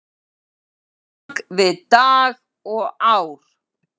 bak við dag og ár?